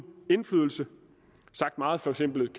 indflydelse sagt meget forsimplet